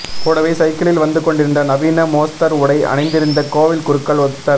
கூடவே சைக்கிளில் வந்துக் கொண்டிருந்த நவீன மோஸ்தர் உடை அணிந்திருந்த கோவில் குருக்கள் ஒருத்தர்